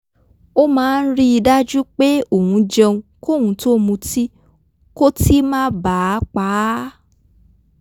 ó máa ń rí i dájú pé òun jẹun kóun tó mutí kótí má ba à pa á